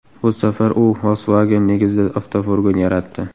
Bu safar u Volkswagen negizida avtofurgon yaratdi.